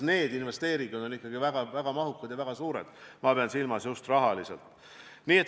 Need investeeringud on ikkagi väga mahukad ja väga suured, ma pean silmas, et just rahaliselt.